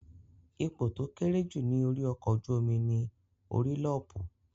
Ipò tó kéré jù ní orí ọkọ̀ ojú-omi ní Orílọ́pù